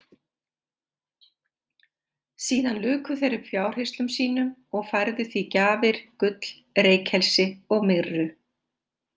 Síðan luku þeir upp fjárhirslum sínum og færðu því gjafir, gull, reykelsi og myrru.